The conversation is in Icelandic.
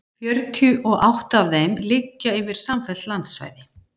Fjörutíu og átta af þeim liggja yfir samfellt landsvæði.